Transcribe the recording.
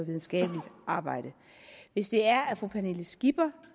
videnskabeligt arbejde hvis fru pernille skipper